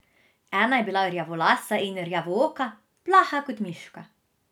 Ena je bila rjavolasa in rjavooka, plaha kot miška.